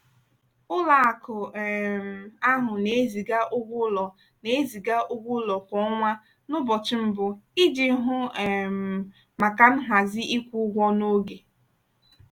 ụlọakụ um ahụ na-eziga ụgwọ ụlọ na-eziga ụgwọ ụlọ kwa ọnwa n'ụbọchị mbụ iji hụ um maka nhazi ịkwụ ụgwọ n'oge.